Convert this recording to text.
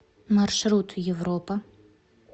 маршрут европа